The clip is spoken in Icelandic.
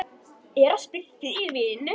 Er að spyrja fyrir vin.